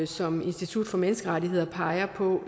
som institut for menneskerettigheder peger på